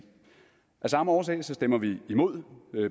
af samme årsag stemmer vi imod